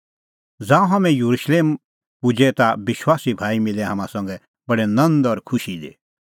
ज़ांऊं हाम्हैं येरुशलेम पुजै ता विश्वासी भाई मिलै हाम्हां संघै बडै नंद और खुशी दी